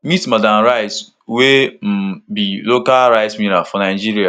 meet madam rice wey um be local rice miller for nigeria